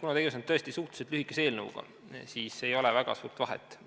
Kuna tegemist on tõesti suhteliselt lühikese eelnõuga, siis ei ole väga suurt vahet,